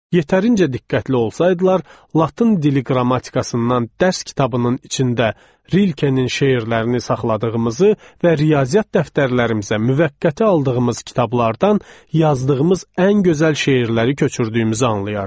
Yetərincə diqqətli olsaydılar, Latın dili qrammatikasından dərs kitabının içində Rilkenin şeirlərini saxladığımızı və riyaziyyat dəftərlərimizə müvəqqəti aldığımız kitablardan yazdığımız ən gözəl şeirləri köçürdüyümüzü anlayardılar.